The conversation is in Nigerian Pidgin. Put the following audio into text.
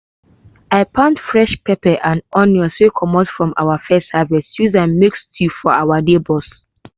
i pound fresh pepper and onions wey comot from our first harvest use make stew for our neighbors.